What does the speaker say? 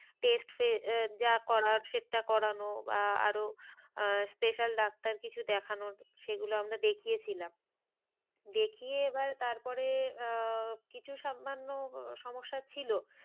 Test আহ যা করার সেটা করানো বা আরো আহ special ডাক্তার কিছু দেখানো সেগুলো আমরা দেখিয়ে ছিলাম। দেখিয়ে এবার তারপরে আহ কিছু সামান্য সমস্যা ছিল।